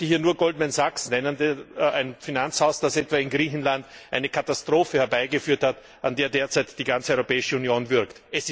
Ich möchte hier nur Goldman Sachs nennen, ein Finanzhaus, das etwa in Griechenland eine Katastrophe herbeigeführt hat, an der derzeit die ganze Europäische Union würgt.